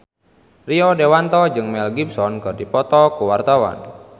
Rio Dewanto jeung Mel Gibson keur dipoto ku wartawan